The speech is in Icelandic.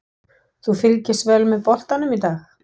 Þú fylgist vel með boltanum í dag?